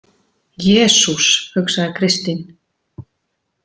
Jesús, hugsaði Kristín.